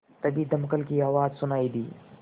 तभी दमकल की आवाज़ सुनाई दी